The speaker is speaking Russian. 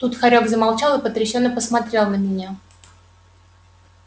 тут хорёк замолчал и потрясенно посмотрел на меня